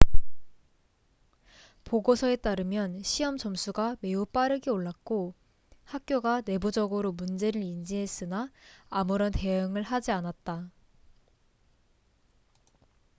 보고서에 따르면 시험 점수가 매우 빠르게 올랐고 학교가 내부적으로 문제를 인지했으나 아무런 대응을 하지 않았다